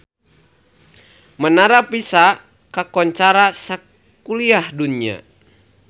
Menara Pisa kakoncara sakuliah dunya